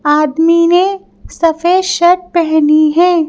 आदमी ने सफेद शर्ट पहनी है।